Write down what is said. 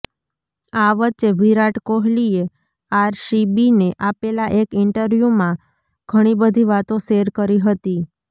આ વચ્ચે વિરાટ કોહલીએ આરસીબીને આપેલાં એક ઈન્ટરવ્યુમાં ઘણી બધી વાતો શેર કરી હતી